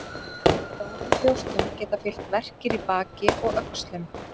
Stórum brjóstum geta fylgt verkir í baki og öxlum.